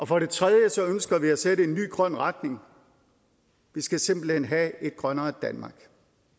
for det tredje ønsker vi at sætte en ny grøn retning vi skal simpelt hen have et grønnere danmark